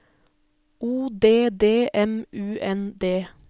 O D D M U N D